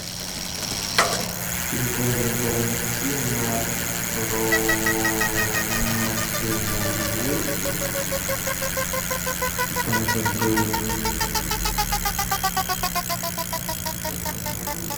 фильм квентина тарантино про мафиози и там еще был